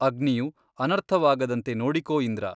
ಅಗ್ನಿಯು ಅನರ್ಥವಾಗದಂತೆ ನೋಡಿಕೋ ಇಂದ್ರ !